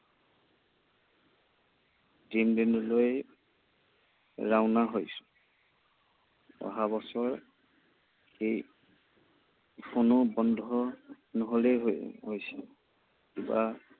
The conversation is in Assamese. তিনিদিনলৈ ৰাওনা হৈছো। অহা বছৰ এই বন্ধ নহলেই হয় হৈছে। কিবা